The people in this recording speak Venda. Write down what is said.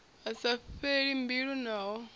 a sa fheli mbilu naho